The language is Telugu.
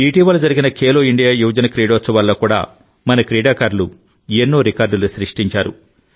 ఇటీవల జరిగిన ఖేలో ఇండియా యువజన క్రీడోత్సవాల్లో కూడా మన క్రీడాకారులు ఎన్నో రికార్డులు సృష్టించారు